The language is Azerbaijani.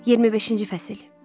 25-ci fəsil.